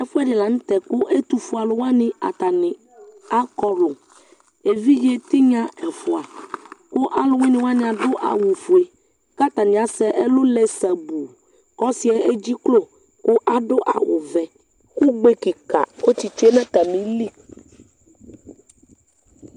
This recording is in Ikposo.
Ɛfuɛdi la nu tɛ ku ɛtufue aluwani atani akɔlu evidze tinya ɛfua ku aluwuini wani adu awu ofue katani asɛ ɛlu lɛ sabuu ku ɔsiɛ egiklo ku adu awu vɛ ugbe kika ɔsitsue nu atamili